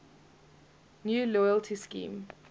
new loyalty scheme